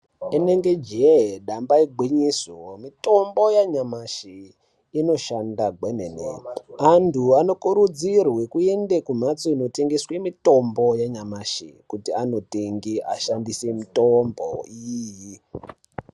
Rinenge jee damba igwinyiso, mitombo yanyamashi inoshanda gwemene, antu anokurudzirwe kuende kumhatso inotengeswe mitombo yanyamashi kuti andotenge ashandise mitombo iyi.